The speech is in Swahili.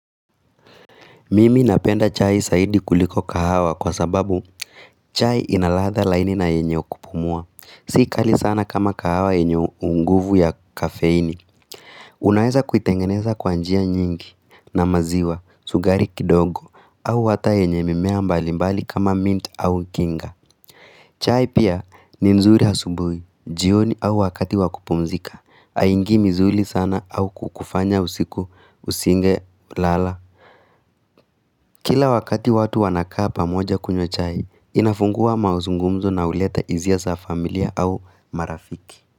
Mimi napenda chai zaidi kuliko kahawa kwa sababu chai inaradha laini na yenyeo kupumua. Si kali sana kama kahawa yenye unguvu ya kafeini. Unaeza kuitengeneza kwa njia nyingi na maziwa, sukari kindogo, au hata yenye mimea mbali mbali kama mint au kinga. Chai pia ni mzuri asubuhi, jioni au wakati wakupumzika, haingii msuri sana au kukufanya usiku, usinge, lala. Kila wakati watu wanakaa pamoja kunywa chai, inafungua mazungumzo na huleta hisia za familia au marafiki.